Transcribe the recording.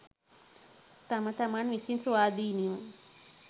තම තමන් විසින් ස්වාධීනව